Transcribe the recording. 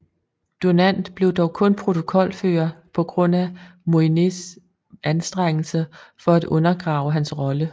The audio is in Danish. Dunant blev dog kun protokolfører på grund af Moyniers anstrengelser for at undergrave hans rolle